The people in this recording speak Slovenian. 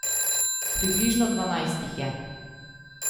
Približno dvanajst jih je.